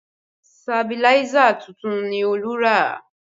Sabiláísà tuntun ni Olú rà